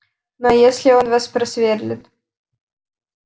ну а если он вас просверлит